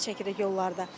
Əziyyət çəkirik yollarda.